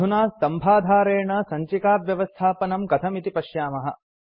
अधुना स्तम्भाधारेण सञ्चिकाव्यवस्थापनं कथम् इति पश्यामः